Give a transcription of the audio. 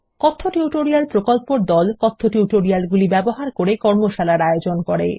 কথ্য টিউটোরিয়াল প্রকল্পর দল কথ্য টিউটোরিয়ালগুলি ব্যবহার করে কর্মশালার আয়োজন করে